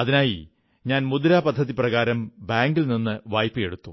അതിനായി ഞാൻ മുദ്രാ പദ്ധതി പ്രകാരം ബാങ്കിൽ നിന്ന് വായ്പ എടുത്തു